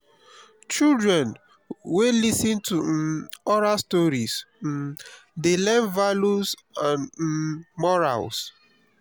children wey lis ten to um oral stories um dey learn values and um morals.